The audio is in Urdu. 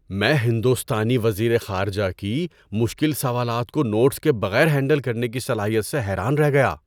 میں ہندوستانی وزیر خارجہ کی مشکل سوالات کو نوٹس کے بغیر ہینڈل کرنے کی صلاحیت سے حیران رہ گیا!